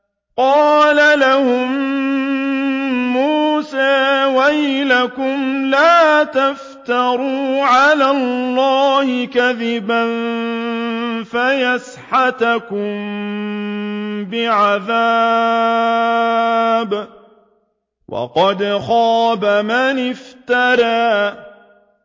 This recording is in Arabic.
قَالَ لَهُم مُّوسَىٰ وَيْلَكُمْ لَا تَفْتَرُوا عَلَى اللَّهِ كَذِبًا فَيُسْحِتَكُم بِعَذَابٍ ۖ وَقَدْ خَابَ مَنِ افْتَرَىٰ